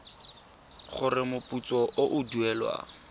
gore moputso o o duelwang